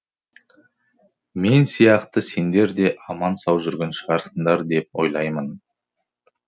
мен сияқты сендер де аман сау жүрген шығарсыңдар деп ойлаймын